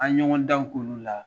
An ye ɲɔgɔn danw k'olu la